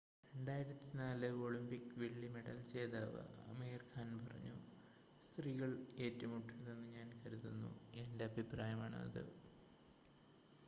"2004 Olympic വെള്ളി medal ജേതാവ് അമീർ ഖാൻ പറഞ്ഞു "സ്ത്രീകൾ ഏറ്റുമുട്ടരുതെന്ന് ഞാൻ കരുതുന്നു. എന്റെ അഭിപ്രായമാണ് അത്.""